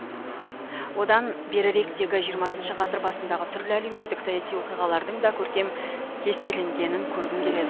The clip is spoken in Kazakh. одан беріректегі жиырмасыншы ғасыр басындағы түрлі әлеуметтік саяси оқиғалардың да көркем кестеленгенін көргім келеді